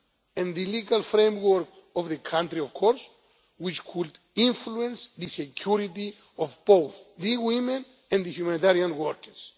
and the legal framework of the country, of course, which could influence the security of both the woman and humanitarian workers.